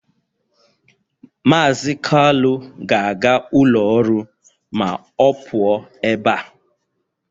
Mazị Kalu ga-aga ụlọ ọrụ ma ọ pụọ ebe a